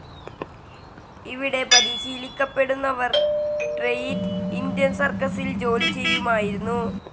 ഇവിടെ പരിശീലിക്കപ്പെടുന്നവർ great Indian സർക്കസിൽ ജോലിചെയ്യുമായിരുന്നു.